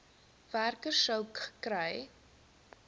werker sou gekry